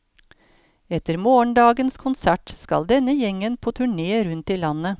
Etter morgendagens konsert skal denne gjengen på turné rundt i landet.